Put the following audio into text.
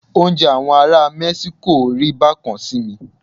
Oúnjẹ àwọn ará Mẹ́síkò rí bá kan sí mi.